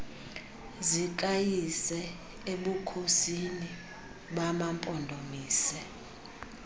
zikayise ebukhosini bamampondomise